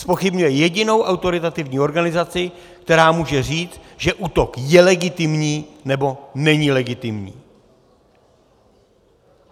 Zpochybňuje jedinou autoritativní organizaci, která může říct, že útok je legitimní, nebo není legitimní.